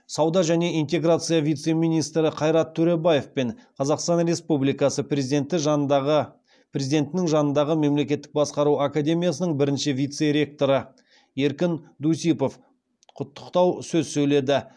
сауда және интеграция вице министрі қайрат төребаев пен қазақстан республикасы президентінің жанындағы мемлекеттік басқару академиясының бірінші вице ректоры еркін дусипов құттықтау сөз сөйледі